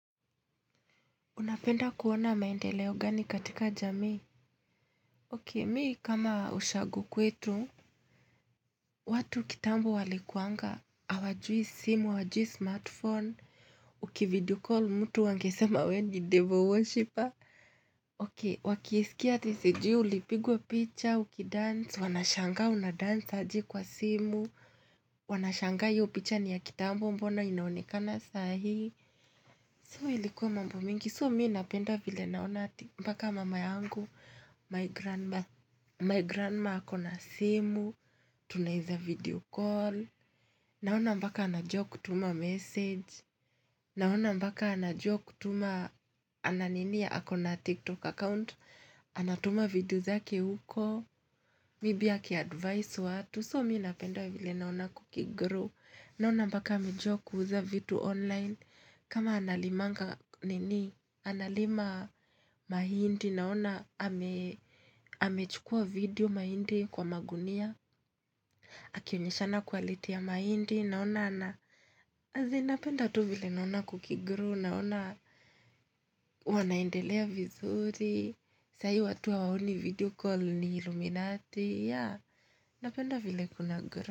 Unapenda kuona maendeleo gani katika jamii? Poa, mimi kama ushagu kwetu. Watu kitambo walikuanga. Hawajui simu, hawajui smartphone. Ukivideocall mtu angesema wewe ni devil worshiper. Oke, wakisikia TCG, ulipigwa picha, ukidance, wanashangaa unadance aje kwa simu. Wanashangaa hiyo picha ni ya kitambo mbona inaonekana saa hii. Kwa hiyo ilikuwa mambo mengi, kwa hiyo mimi napenda vile naona mpaka mama yangu, my grandma, my grandma akona simu, tunaweza video call, naona mpaka anajua kutuma message, naona mpaka anajua kutuma akona tiktok account, anatuma video zake huko, bibi akiadvice watu. Kwa hiyo mimi napenda vile naona kukigrow Naona mpaka amejua kuuza vitu online. Kama analimanga nini. Analima mahindi. Naona amechukua video mahindi kwa magunia. Akionyeshana ubora wa mahindi. Naona napenda tu vile naona kukigrow. Naona wanaendelea vizuri. Saa hii, watu hawaoni video call ni iluminati. Yeah napenda vile kunagrow.